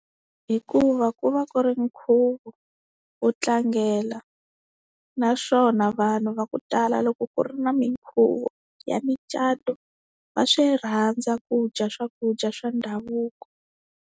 Hikuva ku va ku ri nkhuvo wo tlangela naswona vanhu va ku tala loko ku ri na minkhuvo ya micato va swi rhandza ku dya swakudya swa ndhavuko.